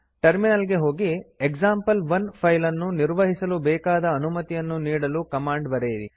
terminal ಗೆ ಹೋಗಿ example one file ನ್ನು ನಿರ್ವಹಿಸಲು ಬೇಕಾದ ಅನುಮತಿಯನ್ನು ನೀಡಲು ಕಮಾಂಡ್ ಬರೆಯಿರಿ